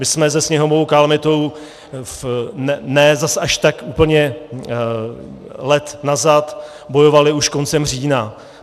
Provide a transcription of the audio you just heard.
My jsme se sněhovou kalamitou ne zas až tak úplně let nazad bojovali už koncem října.